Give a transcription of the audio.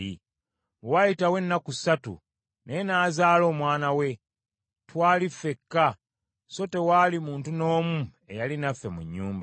Bwe waayitawo ennaku ssatu, naye n’azaala omwana we. Twali ffekka, so tewaali muntu n’omu eyali naffe mu nnyumba.